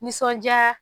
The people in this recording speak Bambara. Nisɔndiya